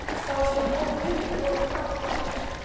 Þá stóð Tóti upp og fór að gapa og geispa.